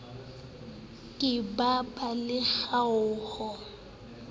ke ba ba le kgaoho